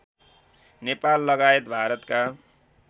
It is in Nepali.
नेपाल लगायत भारतका